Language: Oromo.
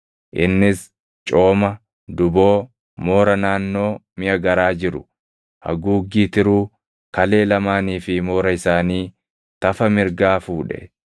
Innis cooma, duboo, moora naannoo miʼa garaa jiru, haguuggii tiruu, kalee lamaanii fi moora isaanii, tafa mirgaa fuudhe.